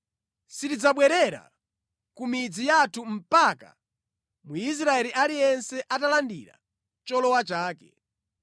Sitidzabwerera ku midzi yathu mpaka Mwisraeli aliyense atalandira cholowa chake.